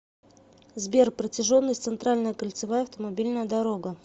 сбер протяженность центральная кольцевая автомобильная дорога